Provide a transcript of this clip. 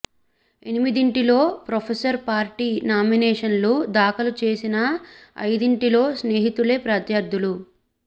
ఎనిమిదింటిలో professor party నామినేషన్లు దాఖలు చేసినా ఐదింటిలో స్నేహితులే ప్రత్యర్థులు